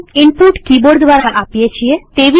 સામાન્ય રીતે આપણે કિબોર્ડ દ્વારા ઈનપુટ આપીએ છીએ